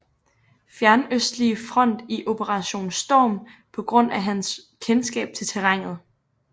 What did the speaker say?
Fjernøstlige Front i Operation Storm på grund af hans kendskab til terrænet